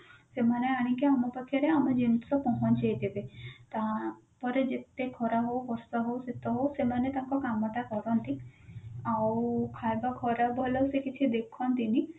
ସେମାନେ ଆଣିକି ଆମ ପାଖରେ ଆମ ଜିନିଷ ପହଞ୍ଚେଇ ଦେବେ ତା ପରେ ଯେତେ ଖରା ହଉ ବର୍ଷା ହଉ ଶୀତ ହଉ ସେମାନେ ତାଙ୍କ କାମ ତା କରନ୍ତି ଆଉ ଖାଇବା ଖରାପ ଭଲ ସେ କିଛି ଦେଖନ୍ତି ନି